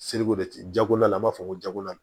jago la an b'a fɔ ko jakola